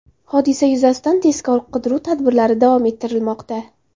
Hodisa yuzasidan tezkor-qidiruv tadbirlari davom ettirilmoqda.